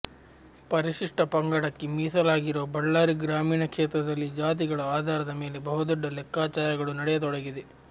ಪರಿಶಿಷ್ಟ ಪಂಗಡಕ್ಕೆ ಮೀಸಲಾಗಿರುವ ಬಳ್ಳಾರಿ ಗ್ರಾಮೀಣ ಕ್ಷೇತ್ರದಲ್ಲಿ ಜಾತಿಗಳ ಆಧಾರದ ಮೇಲೆ ಬಹುದೊಡ್ಡ ಲೆಕ್ಕಾಚಾರಗಳು ನಡೆಯತೊಡಗಿದೆ